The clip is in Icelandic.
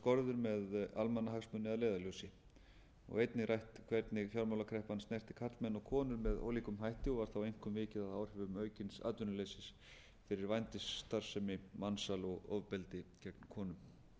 skorður með almannahagsmuni að leiðarljósi og einnig rætt hvernig fjármálakreppan snerti karlmenn og konur með ólíkum hætti og var þá einkum vikið að áhrifum aukins atvinnuleysis fyrir vændisstarfsemi mansal og ofbeldi gegn konum